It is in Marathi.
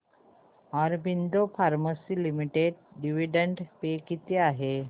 Aurobindo pharma limited dividend pay किती आहे